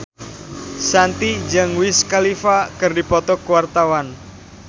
Shanti jeung Wiz Khalifa keur dipoto ku wartawan